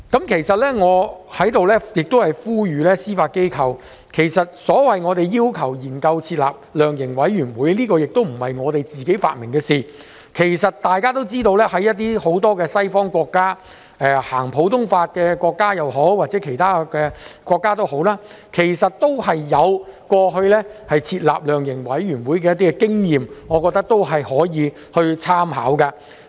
我想在此呼籲司法機構，其實所謂要求研究設立量刑委員會，並非我們自己發明的事，大家也知道很多西方國家，不論是普通法系統的國家或者其他法律系統的國家，其實過去也有設立量刑委員會的經驗，我認為可以參考一下。